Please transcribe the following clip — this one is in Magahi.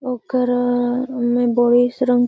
ओकरा में बईस रंग --